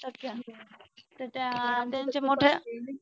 तर त्या त्यांचे मोठ्या